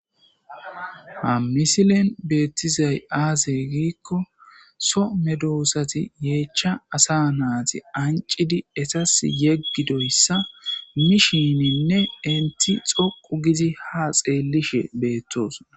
ha misilen beettizay aazey giikko so medoosati yeechcha asa naati ancidi esas yeggidoyssa mishininne inti xoqu gizi ha xeellishe beettos